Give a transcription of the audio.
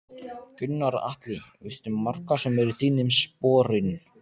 Gunnar Atli: Veistu um marga sem eru í þínum sporun?